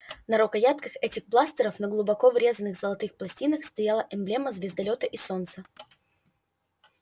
на рукоятках этих бластеров на глубоко врезанных золотых пластинках стояла эмблема звездолёта и солнца